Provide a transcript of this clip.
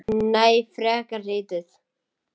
Nei, frekar lítið.